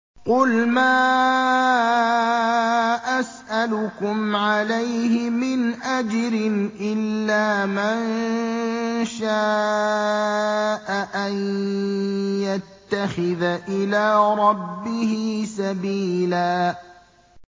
قُلْ مَا أَسْأَلُكُمْ عَلَيْهِ مِنْ أَجْرٍ إِلَّا مَن شَاءَ أَن يَتَّخِذَ إِلَىٰ رَبِّهِ سَبِيلًا